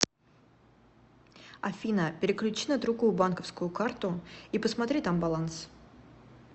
афина переключи на другую банковскую карту и посмотри там баланс